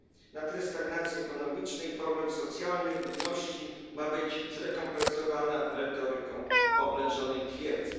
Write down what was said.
na tle stagnacji ekonomicznej i problemów socjalnych ludności ma być zrekompensowana retoryką oblężonej twierdzy.